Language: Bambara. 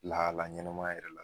Lahala ɲɛnɛma yɛrɛ la